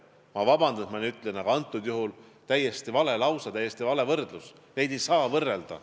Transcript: Ma palun vabandust, et ma nii ütlen, aga antud juhul oli see täiesti vale lause, täiesti vale võrdlus – neid asju ei saa võrrelda.